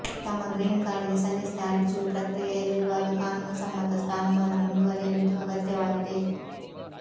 ತಮ್ಮ green card ಗೆ ಸಲ್ಲಿಸಿದ ಅರ್ಜಿಯು ಪ್ರಕ್ರಿಯೆಯಲ್ಲಿರುವಾಗ ಕಾನೂನುಸಮ್ಮತ ಸ್ಥಾನಮಾನ ಮುಂದುವರಿಯಲು ಇದು ಅಗತ್ಯವಾಗಿದೆ